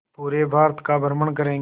पूरे भारत का भ्रमण करेंगे